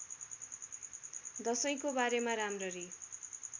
दशैँको बारेमा राम्ररी